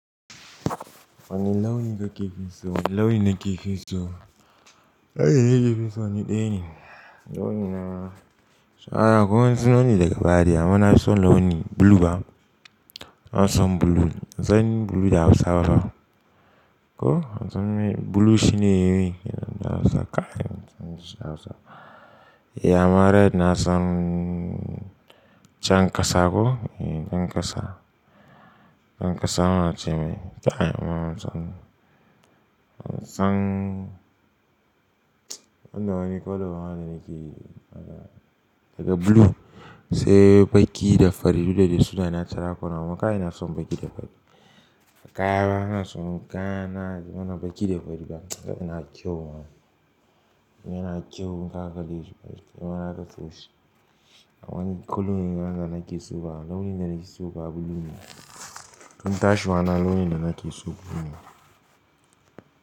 Wani launin da ka ke so, launin da ka ke so. Launin da nafi so ni daya ne. Launi na, so akwai wasu launi daga baya. Amma na fi son launi blue ba. Na fi son blue. An san blue da Hausawa ba ko? An san blue shine irin, na sa kaya. An san shi da wasa. E, amma red na son jan ƙasa ko? E, jan ƙasa. Jan ƙasa muna cemai. Kai, amma an san, an san wanda wani color ma da nake daga blue sai baki da fari, duk da dai suna natural color. Amma kai ina son baki da fari. Kayana ina son, kayana mana baki da fari ba. Kai ina kyau ma. Kai yana kyau, zaka ganshi fari. Kai ma aka tashi. Amma ni kullum launin da nake so ba. Launin da na ke so ba blue ne. Dan tashina launin da na ke so blue ne.